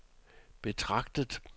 betragtet